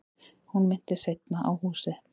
Hún minntist seinna á húsið.